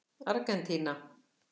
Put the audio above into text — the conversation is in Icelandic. Argentína